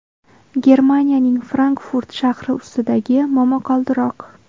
Germaniyaning Frankfurt shahri ustidagi momaqaldiroq.